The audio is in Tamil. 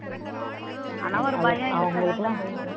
ஆனா ஒரு பயம் இருக்கத்தானே செய்யுது